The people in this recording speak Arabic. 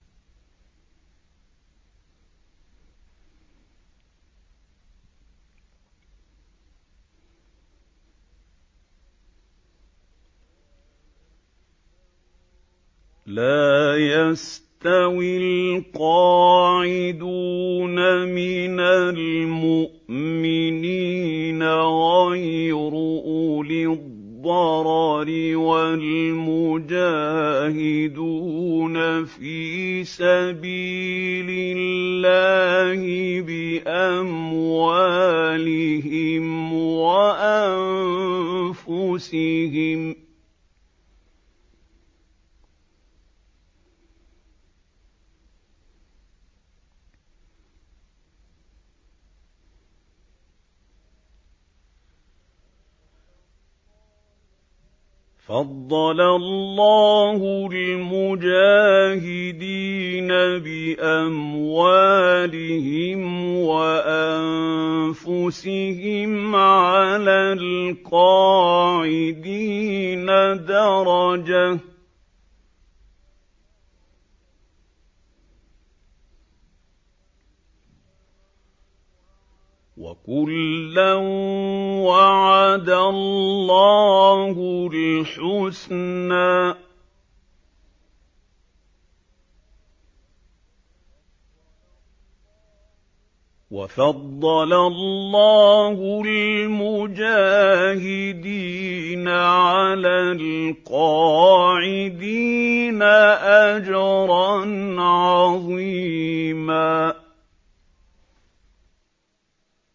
لَّا يَسْتَوِي الْقَاعِدُونَ مِنَ الْمُؤْمِنِينَ غَيْرُ أُولِي الضَّرَرِ وَالْمُجَاهِدُونَ فِي سَبِيلِ اللَّهِ بِأَمْوَالِهِمْ وَأَنفُسِهِمْ ۚ فَضَّلَ اللَّهُ الْمُجَاهِدِينَ بِأَمْوَالِهِمْ وَأَنفُسِهِمْ عَلَى الْقَاعِدِينَ دَرَجَةً ۚ وَكُلًّا وَعَدَ اللَّهُ الْحُسْنَىٰ ۚ وَفَضَّلَ اللَّهُ الْمُجَاهِدِينَ عَلَى الْقَاعِدِينَ أَجْرًا عَظِيمًا